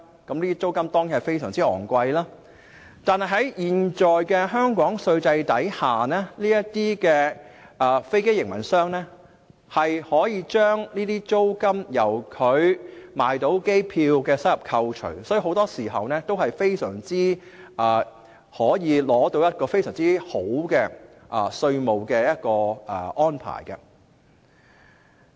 這些租金當然非常昂貴，但在香港現有的稅制下，這些飛機營運者可以將租金由它售賣機票的收入中扣除，所以很多時候，都可以得到一個非常好的稅務安排。